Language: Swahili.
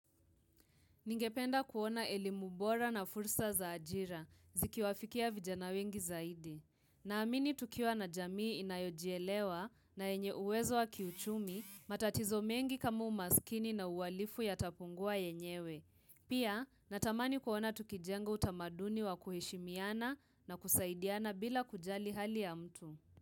Ningependa kuona elimu bora na fursa za ajira, zikiwafikia vijana wengi zaidi. Naamini tukiwa na jamii inayojielewa na yenye uwezo wa kiuchumi matatizo mengi kama umasikini na uwalifu yatapungua yenyewe. Pia natamani kuona tukijengo utamaduni wa kuheshimiana na kusaidiana bila kujali hali ya mtu.